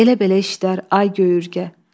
Belə-belə işlər, ay göy ürgə.